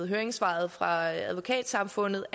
høringssvaret fra advokatsamfundet